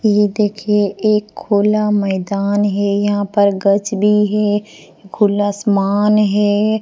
ये देखिए एक खुला मैदान है यहां पर गच्छ भी है खुला आसमान है।